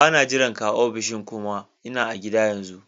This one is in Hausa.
Ba na jiran ka a ofishin kuma. Ina a gida yanzu.